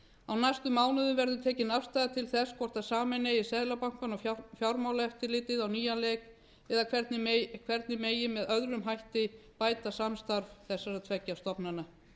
næstu mánuðum verður tekin afstaða til þess hvort sameina eigi seðlabankann og fjármálaeftirlitið á nýjan leik eða hvernig megi með öðrum hætti bæta samstarf þessara tveggja stofnana